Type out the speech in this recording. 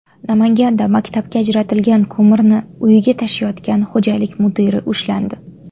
Namanganda maktabga ajratilgan ko‘mirni uyiga tashiyotgan xo‘jalik mudiri ushlandi.